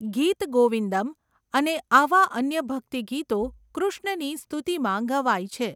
ગીત ગોવિંદમ્ અને આવાં અન્ય ભક્તિ ગીતો કૃષ્ણની સ્તુતિમાં ગવાય છે.